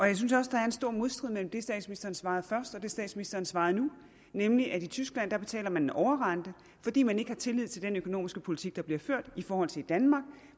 jeg synes også der er en stor modstrid mellem det statsministeren svarede først og det statsministeren svarede nu nemlig at de i tyskland betaler en overrente fordi man ikke har tillid til den økonomiske politik der bliver ført i forhold til i danmark